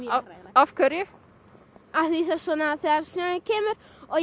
af hverju af því þegar snjórinn kemur og